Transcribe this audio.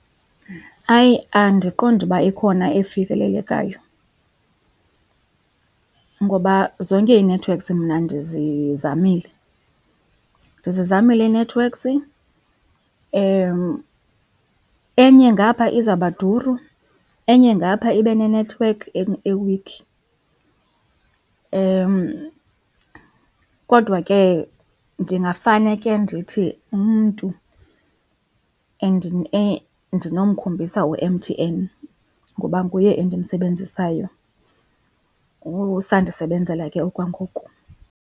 Hayi, andiqondi uba ikhona efikelelekayo ngoba zonke ii-networks mna ndizizamele. Ndizamile ii-networks, enye ngapha izawuba duru, enye ngapha ibe nenethiwekhi ewikhi. Kodwa ke ndingafane ke ndithi umntu ndinomkhombisa uMTN ngoba nguye endimsebenzisayo, usandisebenzela ke okwangoku.